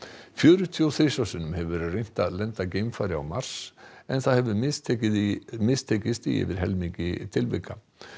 fjörutíu og þrisvar hefur verið reynt að lenda geimfari á Mars en hefur mistekist í mistekist í yfir helmingi tilvika